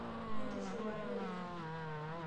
Entishipata oleng.